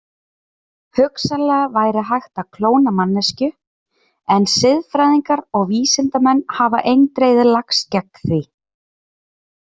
Hugsanlega væri hægt að klóna manneskju en siðfræðingar og vísindamenn hafa eindregið lagst gegn því.